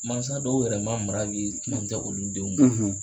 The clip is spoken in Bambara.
Mansa dɔw yɛrɛ ma mara olu denw na